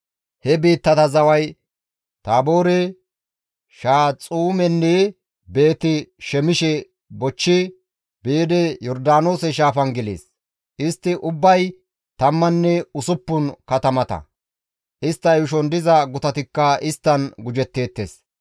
He biittata zaway Taaboore, Shahaxuumenne Beeti-Shemishe bochchi biidi, Yordaanoose shaafan gelees. Istti ubbay tammanne usuppun katamata; istta yuushon diza gutatikka isttan gujetteettes.